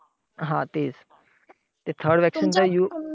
हा तेच! ते third vaccine चा use